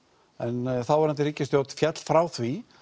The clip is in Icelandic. en þáverandi ríkisstjórn féll frá því